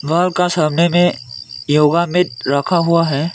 घर का सामने में योगा मैट में रखा हुआ है।